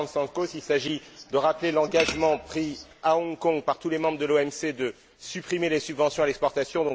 Papastamkos, il s'agit de rappeler l'engagement pris à Hong Kong par tous les membres de l'OMC de supprimer les subventions à l'exportation.